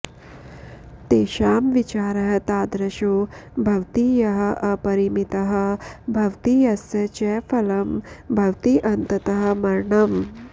तेषां विचारः तादृशो भवति यः अपरिमितः भवति यस्य च फलं भवति अन्ततः मरणम्